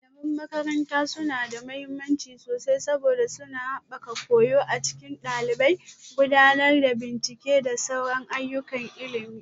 Malaman makaranta suna da mahimmanci sosai saboda suna haɓaka koyo a cikin ɗalibai, gudanar da bincike da sauran ayyukan ilimi